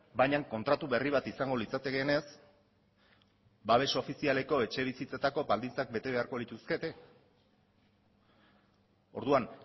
baina kontratu berri bat izango litzatekeenez babes ofizialeko etxebizitzetako baldintzak bete beharko lituzkete orduan